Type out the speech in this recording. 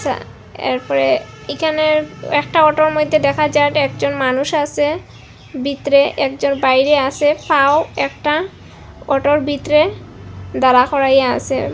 এরপরে একানের একটা অটোর মইদ্যে দেখা যায় একজন মানুষ আসে বিতরে একজন বাইরে আসে পাও একটা অটোর বিতরে দাঁড়া করাইয়া আসে।